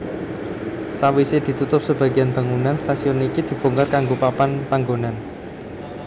Sawise ditutup sebagian bangunan stasiun iki dibongkar kanggo papan panggonan